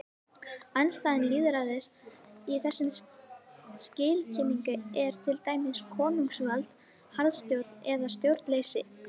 Andstæða lýðræðis í þessum skilningi er til dæmis konungsvald, harðstjórn eða stjórnleysi.